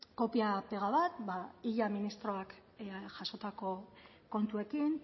kopia pega bat illa ministroak jasotako kontuekin